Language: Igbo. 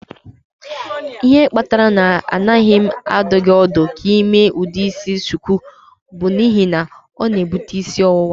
Ihe kpatara na anaghị m adụ gị ọdụ ka ị mee ụdị isi shuku bụ n'ihi na ọ na-ebute isi ọwụwa.